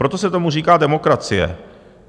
Proto se tomu říká demokracie.